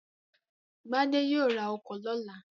Gbadé yóò ra ọkọ̀ lọ́la.